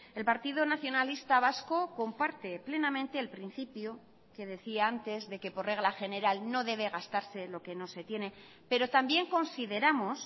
el partido nacionalista vasco comparte plenamente el principio que decía antes de que por regla general no debe gastarse lo que no se tiene pero también consideramos